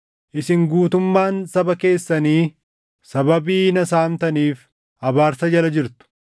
Isin guutummaan saba keessanii sababii na saamtaniif abaarsa jala jirtu.